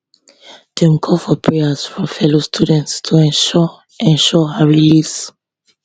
dem call for prayers from fellow students to ensure ensure her release